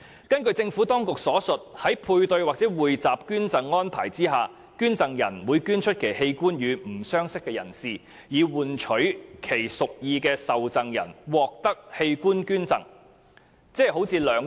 根據政府當局所述，在配對或匯集捐贈安排下，捐贈人會捐出其器官予不相識的人，以換取其屬意的受贈人獲得器官捐贈。